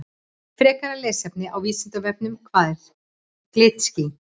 Frekara lesefni á Vísindavefnum Hvað eru glitský?